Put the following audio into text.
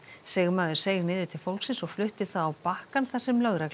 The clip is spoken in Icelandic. sigmaður seig niður til fólksins og flutti það á bakkann þar sem lögregla